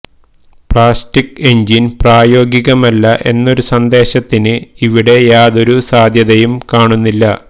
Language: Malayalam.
പ്ലാസ്റ്റിക് എന്ജിന് പ്രായോഗികമല്ല എന്നൊരു സന്ദേഹത്തിന് ഇവിടെ യാതൊരു സാധ്യതയും കാണുന്നില്ല